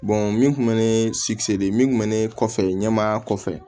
min tun bɛ ne de min kun mɛ ne kɔfɛ ɲɛmaaya kɔfɛ